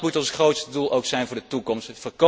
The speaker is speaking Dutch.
Dat moet ons grootste doel ook zijn voor de toekomst.